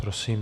Prosím.